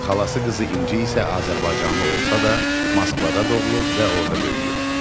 Xalası qızı İnci isə azərbaycanlı olsa da, Moskvada doğulub və orda böyüyüb.